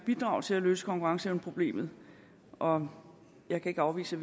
bidrage til at løse konkurrenceevneproblemet og jeg kan ikke afvise